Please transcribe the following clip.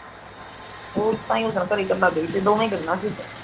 ਹੋਰ ਤਾਂ